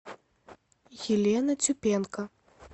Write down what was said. елена тюпенко